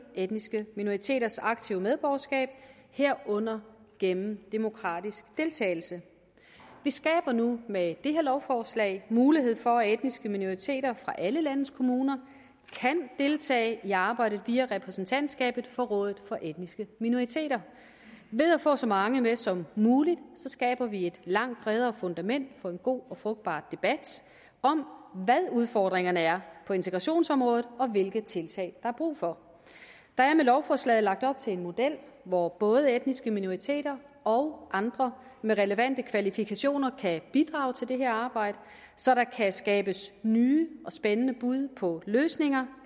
etniske minoriteters aktive medborgerskab herunder gennem demokratisk deltagelse vi skaber nu med det her lovforslag mulighed for at de etniske minoriteter fra alle landets kommuner kan deltage i arbejdet via repræsentantskabet for rådet for etniske minoriteter ved at få så mange med som muligt skaber vi et langt bredere fundament for en god og frugtbar debat om hvad udfordringerne er på integrationsområdet og hvilke tiltag der er brug for der er med lovforslaget lagt op til en model hvor både etniske minoriteter og andre med relevante kvalifikationer kan bidrage til det her arbejde så der kan skabes nye og spændende bud på løsninger